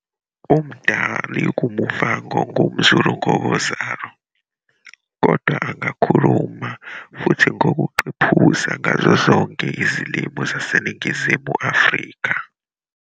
UMdali "kuMuvhango" ngumZulu ngokozalo, kodwa angakhuluma futhi ngokuqephuza ngazo zonke izilimi zaseNingizimu Afrika.